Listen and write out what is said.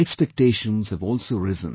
Expectations have also risen